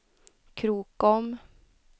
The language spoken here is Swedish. Krokom